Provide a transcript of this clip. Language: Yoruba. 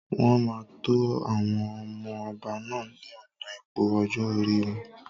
Wọn máa tó àwọn ọmọ ọba náà ni ọ̀nà ipò ọjọ́ orí wọn.